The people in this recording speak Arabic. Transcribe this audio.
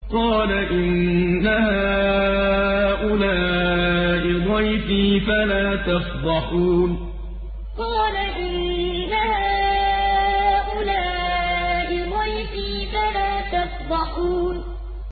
قَالَ إِنَّ هَٰؤُلَاءِ ضَيْفِي فَلَا تَفْضَحُونِ قَالَ إِنَّ هَٰؤُلَاءِ ضَيْفِي فَلَا تَفْضَحُونِ